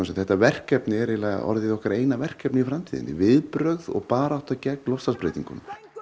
þetta verkefni er eiginlega orðið okkar eina verkefni í framtíðinni viðbrögð og barátta gegn loftslagsbreytingum